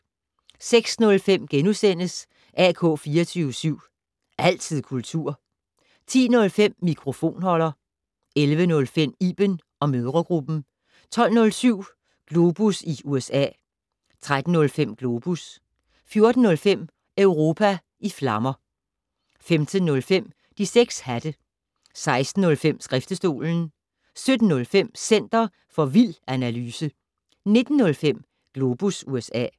06:05: AK 24syv. Altid kultur * 10:05: Mikrofonholder 11:05: Iben & mødregruppen 12:07: Globus i USA 13:05: Globus 14:05: Europa i flammer 15:05: De 6 hatte 16:05: Skriftestolen 17:05: Center for vild analyse 19:05: Globus USA